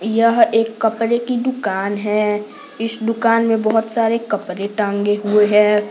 यह एक कपड़े की दुकान है इस दुकान में बहुत सारे कपड़े टांगे हुए है।